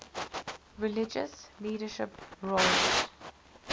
religious leadership roles